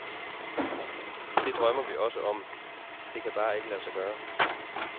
Det drømmer vi også om, det kan bare ikke lade sig gøre.